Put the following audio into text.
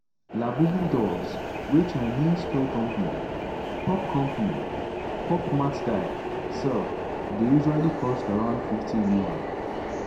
labubu dolls wey chinese toy company pop company pop mart dye sell dey usually cost around 50 yuan.